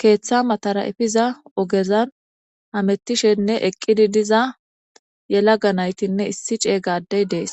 keeththa matara efiza ogezan hamettishenne eqqidi diza yelaga naytinne issi cey gadey dees.